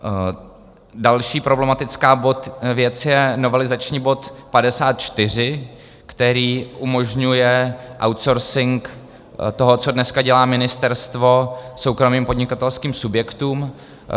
Další problematická věc je novelizační bod 54, který umožňuje outsourcing toho, co dneska dělá ministerstvo, soukromým podnikatelským subjektům.